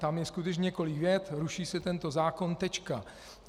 Tam je skutečně několik vět: ruší se tento zákon, tečka.